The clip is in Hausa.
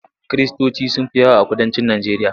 Kiristoci sun fi yawa a kudancin Najeriya.